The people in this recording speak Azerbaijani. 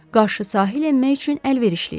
Qarşı sahil enmək üçün əlverişli idi.